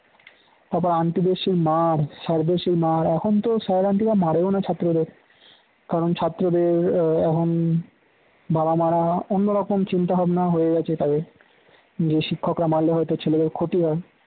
তারপর aunty দের সেই মার sir দের সেই মার এখন তো sir রা aunty রা মারেও না ছাত্রদের কারণ ছাত্রদের এখন বাবা মারা এখন অন্যরকম চিন্তা-ভাবনা হয়ে গেছে তাদের যে শিক্ষকরা মারলে হয়তো ছেলেদের ক্ষতি হয়